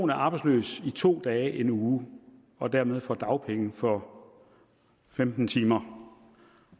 er arbejdsløs i to dage i en uge og dermed får dagpenge for femten timer